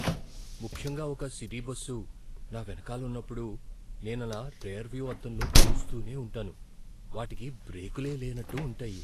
ముఖ్యంగా ఒక city bus నా వెనకాల ఉన్నపుడు నేను ఆలా రియర్ వ్యూ అద్దంలో చూస్తూనే ఉంటాను. వాటికి బ్రేకులే లేనట్టు ఉంటాయి.